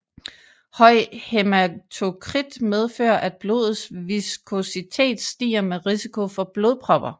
Høj hæmatokrit medfører at blodets viskositet stiger med risiko for blodpropper